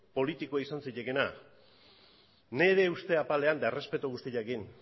politiko izan zitekeena nire uste apalean eta errespetu guztiarekin